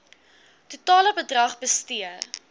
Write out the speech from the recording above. totale bedrag bestee